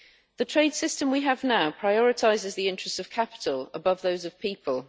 The trade system we have now prioritises the interests of capital above those of people.